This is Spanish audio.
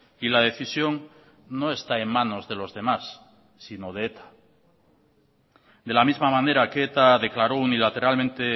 y la decisión no está en manos de los demás sino de eta de la misma manera que eta declaró unilateralmente